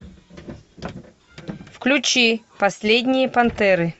включи последние пантеры